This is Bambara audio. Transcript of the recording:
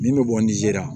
Min bɛ bɔ nizeri